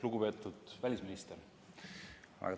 Lugupeetud välisminister!